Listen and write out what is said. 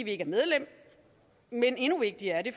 ikke medlem men endnu vigtigere er det